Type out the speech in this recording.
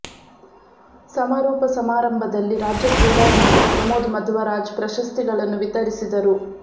ಸಮಾರೋಪ ಸಮಾರಂಭದಲ್ಲಿ ರಾಜ್ಯ ಕ್ರೀಡಾ ಸಚಿವ ಪ್ರಮೋದ್ ಮದ್ವರಾಜ್ ಪ್ರಶಸ್ತಿಗಳನ್ನು ವಿತರಿಸಿದರು